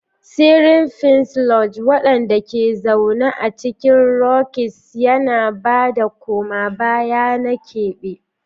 Serene Pines Lodge, wanda ke zaune a cikin Rockies, yana ba da koma baya na keɓe.